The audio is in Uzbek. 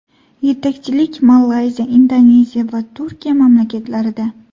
Yetakchilik Malayziya, Indoneziya va Turkiya mamlakatlarida.